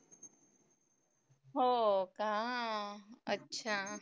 हो का? अच्छा.